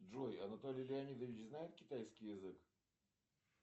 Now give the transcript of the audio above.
джой анатолий леонидович знает китайский язык